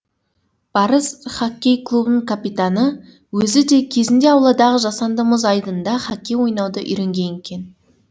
барыс хоккей клубының капитаны өзі де кезінде ауладағы жасанды мұз айдынында хоккей ойнауды үйренген екен